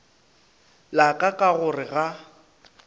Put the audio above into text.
la ka ka gore ga